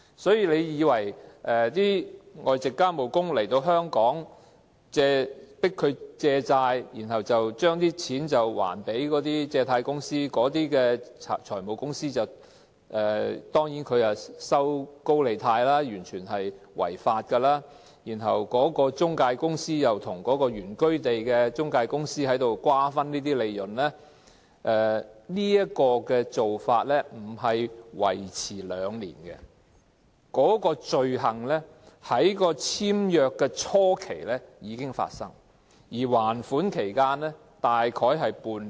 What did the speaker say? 所以，外籍家庭傭工來到香港被迫借錢，然後還錢給財務公司——財務公司放高利貸，完全是違法的——然後中介公司又跟原居地的中介公司瓜分有關利潤，這種做法不僅維持兩年，有關罪行在簽約初期已經發生，而還款期大約為半年。